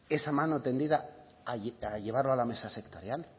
esa mano tendida a llevarlo a la mesa sectorial